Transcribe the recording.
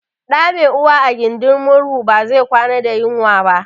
Ɗa mai uwa a gindin murhu ba zai kwana da yunwa ba